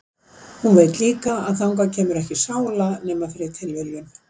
Og hún veit líka að þangað kemur ekki sála nema fyrir tilviljun.